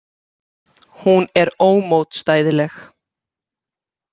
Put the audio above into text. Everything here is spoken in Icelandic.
Hún er ómótstæðileg.